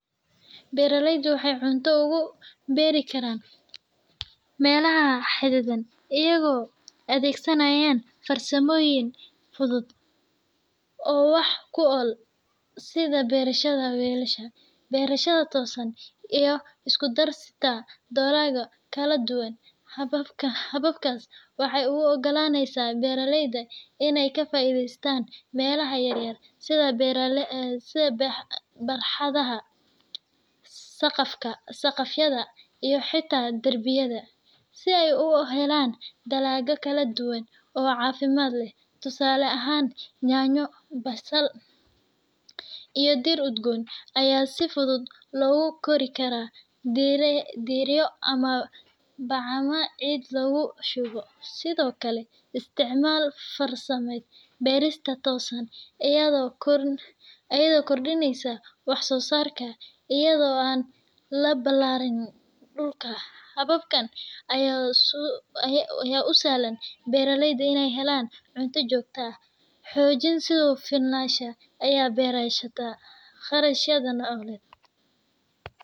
Beeraleydu waxay cunto uga beeri karaan meelaha xaddidan iyagoo adeegsanaya farsamooyin fudud oo wax ku ool ah sida beerashada weelasha, beerashada toosan, iyo isku darista dalagyo kala duwan. Hababkaasi waxay u oggolaanayaan beeraleyda inay ka faa’iidaystaan meelaha yar sida barxadaha, saqafyada, iyo xitaa darbiyada, si ay u helaan dalagyo kala duwan oo caafimaad leh. Tusaale ahaan, yaanyo, basasha, iyo dhir udgoon ayaa si fudud loogu kori karaa dheriyo ama bacaha ciid lagu shubo. Sidoo kale, isticmaalka farsamada beerista toosan ayaa kordhinaysa wax-soo-saarka iyada oo aan la ballaarin dhulka. Hababkan ayaa u sahlaya beeraleyda inay helaan cunto joogto ah, xoojiya isu filnaanshaha, ayna yareeyaan kharashyada nololeed.